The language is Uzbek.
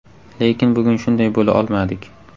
Lekin bugun shunday bo‘la olmadik.